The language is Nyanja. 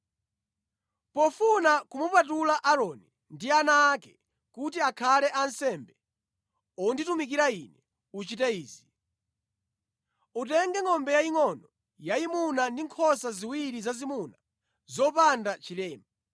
“Pofuna kumupatula Aaroni ndi ana ake kuti akhale ansembe onditumikira Ine, uchite izi: Utenge ngʼombe yayingʼono yayimuna ndi nkhosa ziwiri zazimuna zopanda chilema.